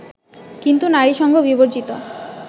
কিন্তু নারীসঙ্গ বিবর্জিত